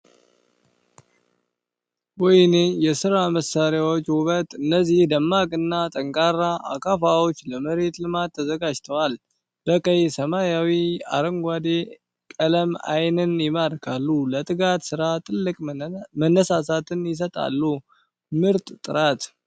ወይኔ የሥራ መሣሪያዎች ውበት! እነዚህ ደማቅና ጠንካራ አካፋዎች ለመሬት ልማት ተዘጋጅተዋል! በቀይ፣ ሰማያዊና አረንጓዴ ቀለም ዓይንን ይማርካሉ! ለትጋት ሥራ ትልቅ መነሳሳትን ይሰጣሉ! ምርጥ ጥራት!